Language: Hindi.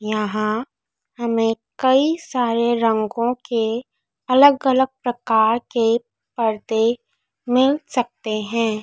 यहां हमें कई सारे रंगों के अलग अलग प्रकार के पर्दे मिल सकते हैं।